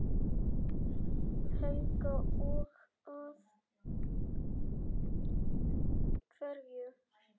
Helga: Og af hverju?